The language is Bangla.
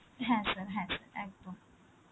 হ্যাঁ sir, হ্যাঁ sir, একদম